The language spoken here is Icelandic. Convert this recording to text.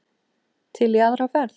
Til í aðra ferð.